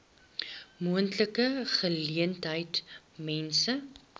moontlike geleentheid mense